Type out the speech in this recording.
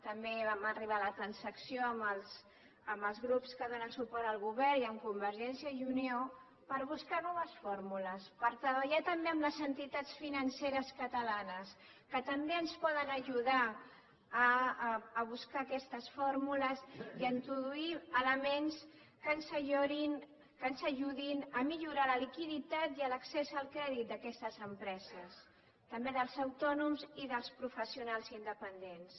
també vam arribar a la transacció amb els grups que donen suport al govern i amb convergència i unió per buscar noves fórmules per treballar també amb les entitats financeres catalanes que també ens poden ajudar a buscar aquestes fórmules i a introduir elements que ens ajudin a millorar la liquiditat i l’accés al crèdit d’aquestes empreses també dels autònoms i dels professionals independents